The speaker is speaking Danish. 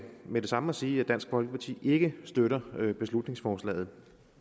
med det samme at sige at dansk folkeparti ikke støtter beslutningsforslaget